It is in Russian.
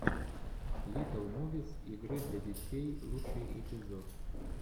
литтл мувис игры для детей лучший эпизод